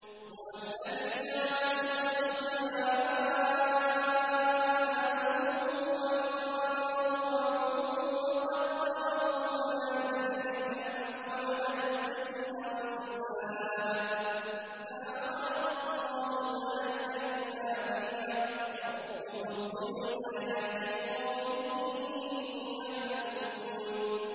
هُوَ الَّذِي جَعَلَ الشَّمْسَ ضِيَاءً وَالْقَمَرَ نُورًا وَقَدَّرَهُ مَنَازِلَ لِتَعْلَمُوا عَدَدَ السِّنِينَ وَالْحِسَابَ ۚ مَا خَلَقَ اللَّهُ ذَٰلِكَ إِلَّا بِالْحَقِّ ۚ يُفَصِّلُ الْآيَاتِ لِقَوْمٍ يَعْلَمُونَ